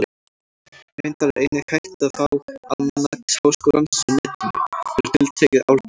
Reyndar er einnig hægt að fá Almanak Háskólans á Netinu, fyrir tiltekið árgjald.